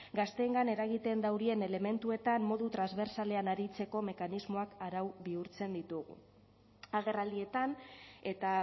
gazteengan eragiten daurien elementuetan modu transbertsalean aritzeko mekanismoak arau bihurtzen ditugu agerraldietan eta